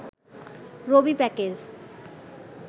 Rabi package